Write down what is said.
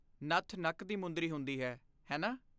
ਨੱਥ ਨੱਕ ਦੀ ਮੁੰਦਰੀ ਹੁੰਦੀ ਹੈ, ਹੈ ਨਾ?